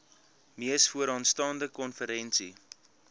mees vooraanstaande konferensie